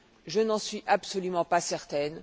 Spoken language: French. Je n'en suis absolument pas certaine.